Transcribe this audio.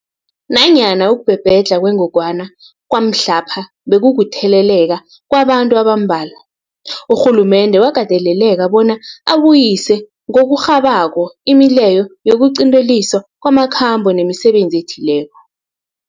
Nanyana ukubhebhedlha kwengogwana kwamhlapha bekukutheleleka kwabantu abambalwa, urhulumende wakateleleka bona abuyise ngokurhabako imileyo yokuqinteliswa kwamakhambo nemisebenzi ethileko.